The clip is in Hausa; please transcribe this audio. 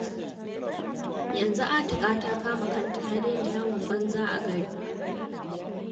Yanzu Atika ta kama kanta ta daina yawon banza a gari